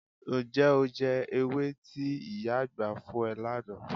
Ǹjẹ́ o jẹ ewé tí ìyá àgbà fún ẹ lánàá?